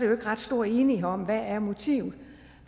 jo ikke ret stor enighed om hvad motivet